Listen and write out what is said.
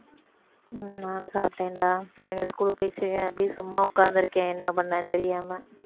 உம் நானும் சாப்பிட்டேன்டா பிள்ளைங்க school க்கு போயிருச்சுக அப்படியே சும்மா உட்கார்ந்து இருக்கேன் என்ன பண்ணேன்னு தெரியாம